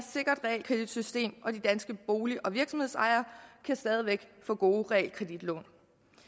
sikkert realkreditsystem og de danske bolig og virksomhedsejere kan stadig væk få gode realkreditlån